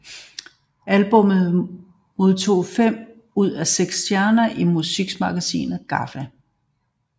Albummet modtog fem ud af seks stjerne i musikmagasinet GAFFA